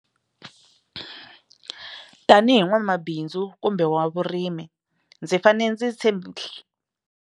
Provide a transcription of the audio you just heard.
Tanihi n'wamabindzu kumbe wa vurimi ndzi fane ndzi tshembi.